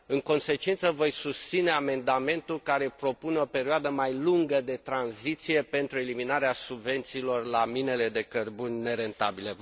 În consecință, voi susține amendamentul care propune o perioadă mai lungă de tranziție pentru eliminarea subvențiilor la minele de cărbune nerentabile.